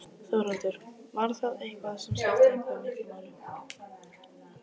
Þórhildur: Var það eitthvað sem skipti eitthvað miklu máli?